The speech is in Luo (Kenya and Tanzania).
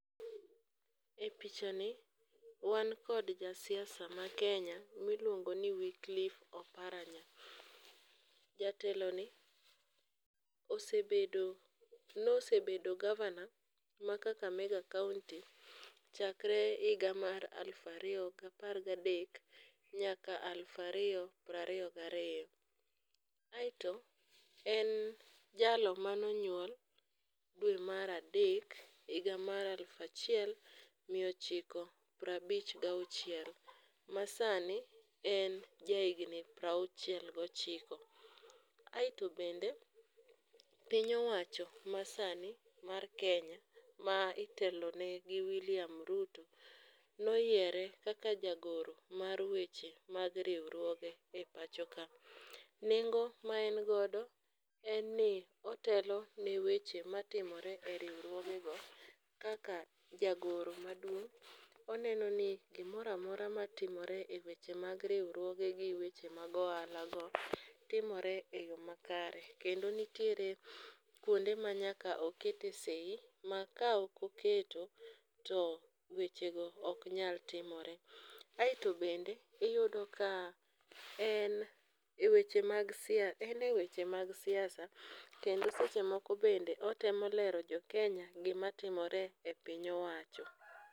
E pichani wan kod jasiasa makenya miluongo ni Wicklife Oparanya. Jateloni [?[ nosebedo gavana ma Kakamega kaonti chakre higa mar aluf ariyo gapar gadek nyaka aluf ariyo prariyo gariyo. Aeto en jalo manonyuol dwe mar adek, higa mar aluf achiel miya ochiko prabich gauchiel ,ma sani en jahigni prauchiel gochiko. Aeto bende piny owacho masani mar Kenya ma itelone gi William Ruto noyiere kaka jagoro mar weche mag riwruoge e pacho ka. Nengo ma en godo en i otelo ne weche matimore e riwruogego kaka jagoro maduong',oneno ni gimoro amora matimore e weche mag riwruogegi, weche mag ohalago, timore e yo makare. Kendo nitiere kwonde manyaka okete sei ma ka ok oketo, to wechego ok nyal timore. Aeto bende, iyudo ka ene weche mag siasa kendo seche moko bende otemo lero jokenya gimatimore e piny owacho.